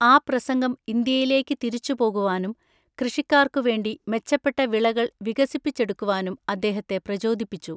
ആ പ്രസംഗം ഇന്ത്യയിലേക്ക് തിരിച്ചുപോകുവാനും കൃഷിക്കാർക്കുവേണ്ടി മെച്ചപ്പെട്ട വിളകൾ വികസിപ്പിച്ചെടുക്കുവാനും അദ്ദേഹത്തെ പ്രചോദിപ്പിച്ചു.